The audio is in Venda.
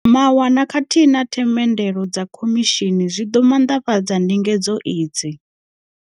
Mawanwa khathihi na themendelo dza khomishini zwi ḓo maanḓafhadza ndinge dzo idzi.